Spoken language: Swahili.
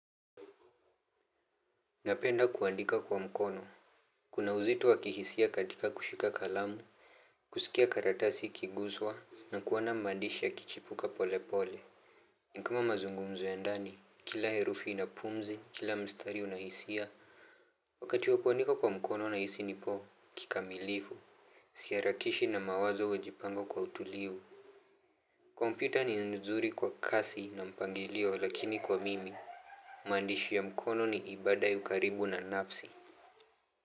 Napenda kuandika kwa mkono. Kuna uzito wa kihisia katika kushika kalamu. Kusikia karatasi ikiguswa na kuona maandishi yakichipuka pole pole ni kama mazungumzo ya ndani, kila herufi ina pumzi, kila mstari una hisia. Wakati wa kuandika kwa mkono nahisi nipo kikamilifu. Siharakishi na mawazo hujipanga kwa utulivu. Kompyuta ni nzuri kwa kasi na mpangilio lakini kwa mimi maandishi ya mkono ni ibada ya ukaribu na nafsi.